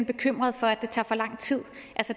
bekymrede for at det tager for lang tid